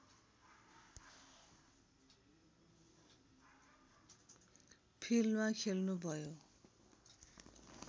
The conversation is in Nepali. फिल्डमा खेल्नुभयो